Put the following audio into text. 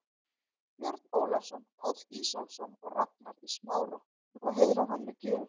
Björn Ólafsson, Páll Ísólfsson og Ragnar í Smára, hafa heiðrað hann með gjöf.